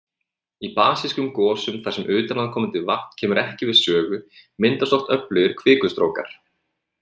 Í basískum gosum þar sem utanaðkomandi vatn kemur ekki við sögu, myndast oft öflugir kvikustrókar.